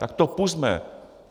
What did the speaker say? Tak to pusťme!